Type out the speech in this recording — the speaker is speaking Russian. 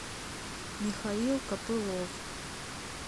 михаил копылов